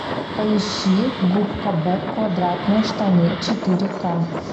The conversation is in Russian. поищи губка боб квадратные штаны четыре ка